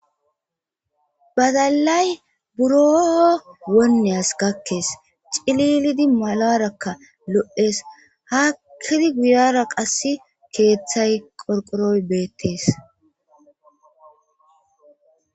badalay buro wonneyas gakkees cililidi malarakka lo7ees haakkidi guyara qass keeththay qorqoroy beettees